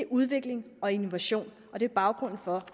udvikling og innovation og det er baggrunden for